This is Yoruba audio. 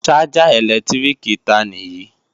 Ṣájà ẹ̀lẹ́tíríkì ta nì yí?